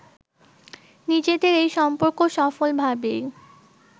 নিজেদের এই সম্পর্ক সফলভাবেই